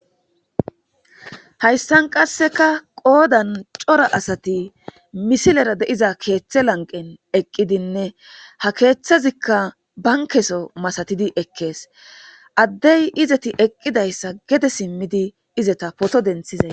hayssan qasseka qoodan cora asati misilera deiza keeththe lanqen eqqidinne ha keeththazikka bankeso masatidi ekkees addey izeti eqqidayssa gede simmidi izeta poto denthizay